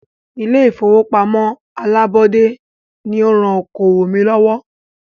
Ilé ìfọwọ́pamo alábọ́dé ní o rán okoòwò mí lọ́wọ́.